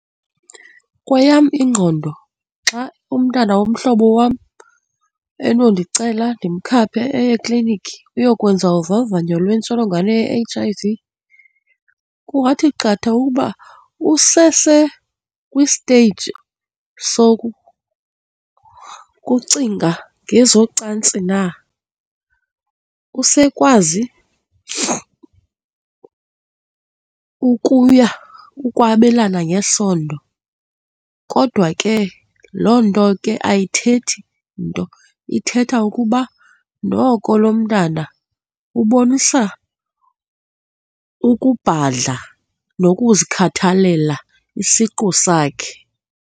Kweyam ingqondo xa umntana womhlobo wam enondicela ndimkhaphe eye ekliniki uyokwenza uvavanyo lwentsholongwane ye-H_I_V kungathi qatha ukuba usesekwisteyiji sokucinga ngezocantsi na, usekwazi ukuya, ukwabelana ngesondo. Kodwa ke loo nto ke ayithethi nto, ithetha ukuba noko lo mntana ubonisa ukubhadla nokuzikhathalela isiqu sakhe.